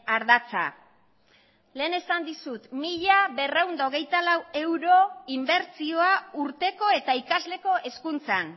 ardatza lehen esan dizut mila berrehun eta hogeita lau euro inbertsioa urteko eta ikasleko hezkuntzan